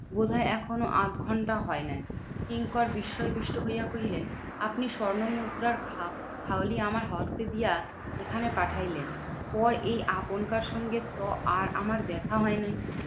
বোধহয় এখনো আধঘন্টা হয় নাই। কিঙ্কর বিস্ময় দৃষ্ট হইয়া কহিলেন, আপনি স্বর্ণমুদ্রার খাপ খালি আমার হস্তে দিয়া এখানে পাঠাইলেন। পর এই আপনকার সঙ্গে তো আর আমার দেখা হয় নাই।